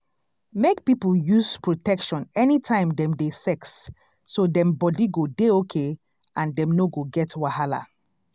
make people use protection anytime dem dey sex so dem body go dey okay and dem no go get wahala.